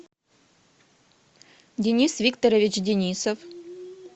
денис викторович денисов